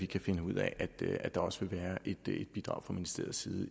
kan finde ud af at der også vil være et bidrag fra ministeriets side i